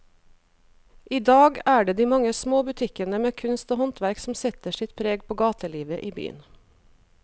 I dag er det de mange små butikkene med kunst og håndverk som setter sitt preg på gatelivet i byen.